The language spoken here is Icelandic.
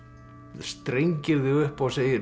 strengir þig upp og segir